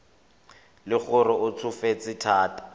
le gore o tsofetse thata